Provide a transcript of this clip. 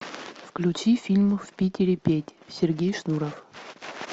включи фильм в питере петь сергей шнуров